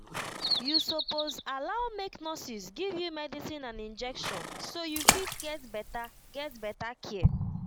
you suppose allow make nurses give you medicine and injection so you fit get better get better care